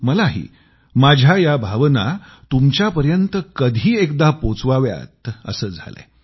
मलाही माझ्या या भावना तुमच्यापर्यंत कधी एकदा पोहोचवाव्यात असं झालंय